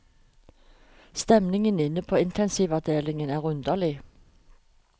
Stemningen inne på intensivavdelingen er underlig.